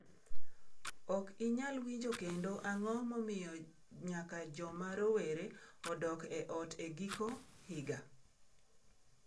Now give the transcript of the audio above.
Ok inyal winjo kendo Ang’o momiyo nyaka joma rowere odok e ot e giko higa?